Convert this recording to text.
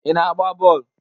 Ị na-agba bọọlụ?